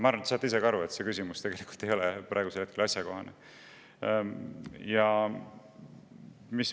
Ma arvan, et te saate ise ka aru, et see küsimus ei olnud praegusel hetkel asjakohane.